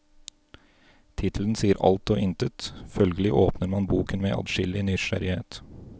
Tittelen sier alt og intet, følgelig åpner man boken med adskillig nysgjerrighet.